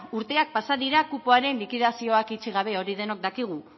urteak pasa dira kupoaren likidazioak itxi gabe hori denok dakigu